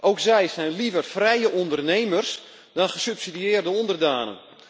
Ook zij zijn liever vrije ondernemers dan gesubsidieerde onderdanen.